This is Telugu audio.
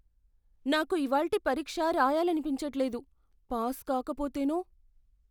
నాకు ఇవాల్టి పరీక్ష రాయాలనిపించట్లేదు. పాస్ కాకపోతేనో?